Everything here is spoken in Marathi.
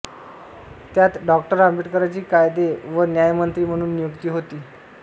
त्यात डॉ आंबेडकरांची कायदे व न्यायमंत्री म्हणून नियुक्ती होती